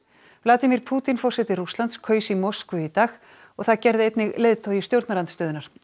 Vladimir Pútín forseti Rússlands kaus í Moskvu í dag og það gerði einnig leiðtogi stjórnarandstöðunnar